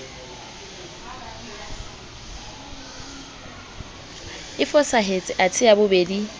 e fosahetse athe ya bobedi